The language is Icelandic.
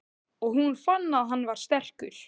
Og hún fann að hann var sterkur.